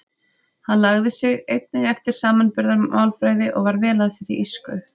Hann lagði sig einnig eftir samanburðarmálfræði og var vel að sér í írsku.